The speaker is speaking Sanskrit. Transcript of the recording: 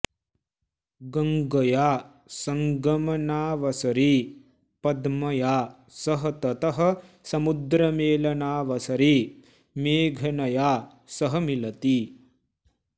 गङ्गया सङ्गमनावसरे पद्मया सह ततः समुद्रमेलनावसरे मेघनया सह मिलति